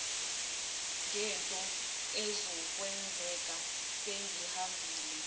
ngento ezokwenzeka sengihambile